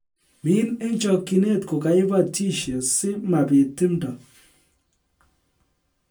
Min eng chokchinet ko kaibatishe si mabit timto